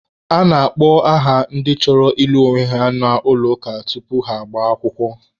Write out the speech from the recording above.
A na-akpọ aha ndị chọrọ ịlụ onwe ha n'ụlọ ụka tupu ha agbaa akwụkwọ.